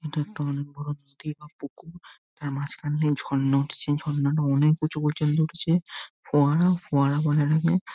এটা একটা অনেক বড় পুকুর যার মাঝখান দিয়ে ঝর্ণা উঠছে ঝর্ণা টা অনেক উঁচু পর্যন্ত উঠছে । ফোয়ারা ফোয়ারা বলার আগে--